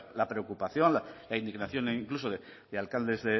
la preocupación la indignación incluso de alcaldes